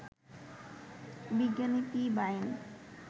বিজ্ঞানী পি. বায়েন